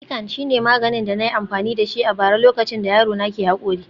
Piccan shine maganin da na yi amfani da shi a bara lokacin da yaro na ke haƙori